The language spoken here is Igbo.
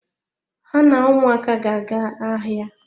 Ha na ụmụaka ga-aga ahịa.